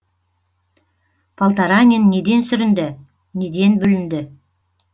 полторанин неден сүрінді неден бүлінді